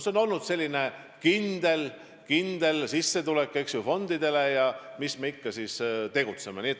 See on olnud fondide jaoks hea kindel sissetulek ja eks nad ole mõelnud, mis me siis ikka tegutseme.